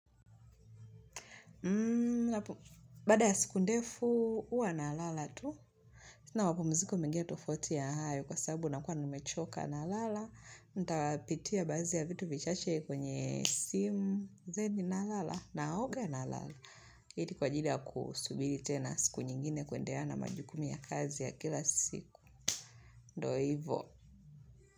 Baada ya siku ndefu huwa nalala tu hakuna mapumziko mengine tofauti ya hayo kwa sababu nakuwa nimechoka nalala nitapitia baadhi ya vitu vichache kwenye simu then ninalala naoga nalala ili kwa ajili ya kusubiri tena siku nyingine kuendelea na majukumu ya kazi ya kila siku ndo hivo.